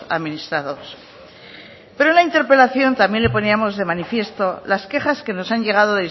administrados pero en la interpelación también le poníamos de manifiesto las quejas que nos han llegado